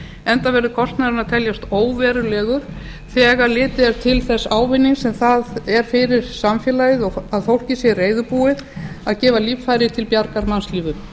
enda verður kostnaðurinn að teljast óverulegur þegar litið er til þess ávinnings sem það er fyrir samfélagið að fólkið sé reiðubúið að gefa líffæri til bjargar mannslífum